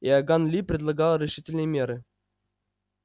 иоганн ли предлагал решительные меры